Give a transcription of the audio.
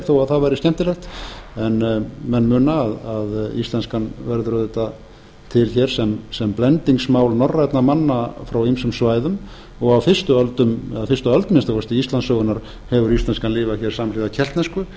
þó að það væri skemmtilegt en menn muna að íslenskan verður auðvitað til hér sem blendingsmál norrænna manna frá ýmsum svæðum og á fyrstu öldum eða á fyrstu öld að minnsta kosti íslandssögunnar hefur íslenskan lifað hér samhliða keltnesku